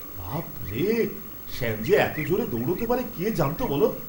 বাপ রে! শ্যাম যে এত জোরে দৌড়তে পারে কে জানত বলো।